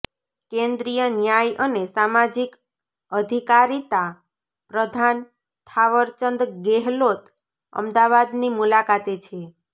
કેન્દ્રીય ન્યાય અને સામાજિક અધિકારીતા પ્રધાન થાવરચંદ ગેહલોત અમદાવાદની મુલાકાતે છે